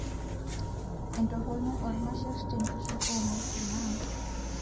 Entoroni oormasher tenkishui oo ngw'esin naa;